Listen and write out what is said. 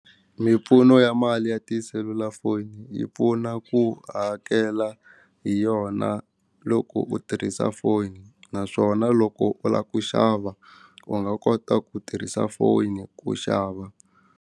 Mimpfuno ya mali ya tiselulafoni yi pfuna ku hakela hi yona loko u tirhisa foni naswona loko u lava ku xava u nga kota ku tirhisa foni ku xava.